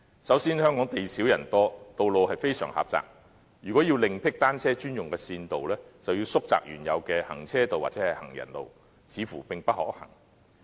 首先，香港地少人多，道路非常狹窄，如要另闢單車專用的線道，便要縮窄原有的行車道或行人路，似乎並不可行。